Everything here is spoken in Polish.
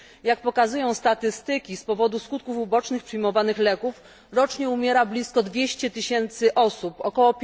Jak pokazują statystyki, z powodu skutków ubocznych przyjmowanych leków rocznie umiera blisko 200 tysięcy osób, ok.